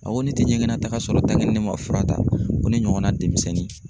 A ko ne tɛ ɲɛgɛnnataga sɔrɔ ne ma fura ta ko ne ɲɔgɔnna denmisɛnnin.